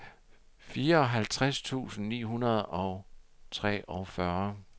fireoghalvtreds tusind ni hundrede og treogfyrre